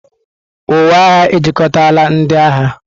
Uwe agha ejikọtala ndị agha.